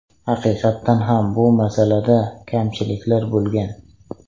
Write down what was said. Haqiqatan ham bu masalada kamchiliklar bo‘lgan.